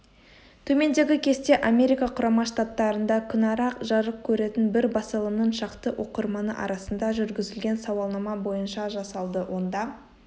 төмендегі кесте америка құрама штаттарында күнара жарық көретін бір басылымның шақты оқырманы арасында жүргізілген сауалнама бойынша жасалды онда